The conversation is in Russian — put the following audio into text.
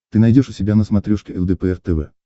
ты найдешь у себя на смотрешке лдпр тв